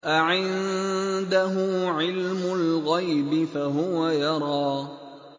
أَعِندَهُ عِلْمُ الْغَيْبِ فَهُوَ يَرَىٰ